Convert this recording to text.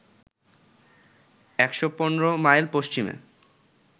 ১১৫ mile পশ্চিমে